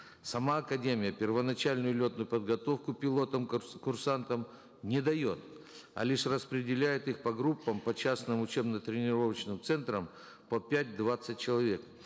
сама академия первоначальную летную полготовку пилотам курсантам не дает а лишь распределяет их по группам по частным учебно тренировочным центрам по пять двадцать человек